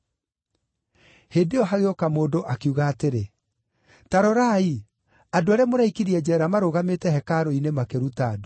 Hĩndĩ ĩyo hagĩũka mũndũ, akiuga atĩrĩ, “Ta rorai! Andũ arĩa mũraikirie njeera marũgamĩte hekarũ-inĩ makĩruta andũ.”